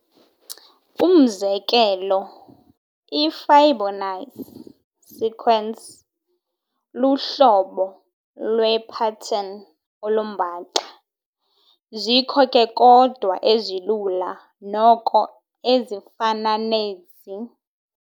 Umzekelo iFibonacci sequence luhlobo lwepattern olumbaxa. zikho ke kodwa ezilula noko ezifana nezi.